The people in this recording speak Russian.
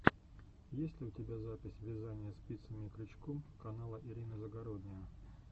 есть ли у тебя запись вязания спицами и крючком канала ирина загородния